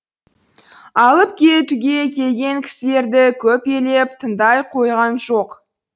алып кетуге келген кісілерді көп елеп тыңдай қойған жоқ